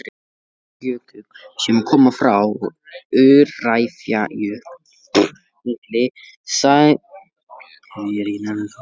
Fjallsjökull, sem koma frá Öræfajökli, sameinuðust honum.